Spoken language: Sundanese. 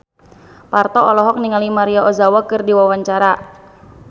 Parto olohok ningali Maria Ozawa keur diwawancara